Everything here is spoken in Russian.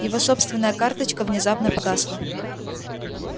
его собственная карточка внезапно погасла